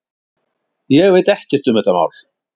Ég veit ekkert um þetta mál.